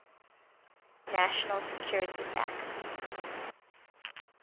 national security act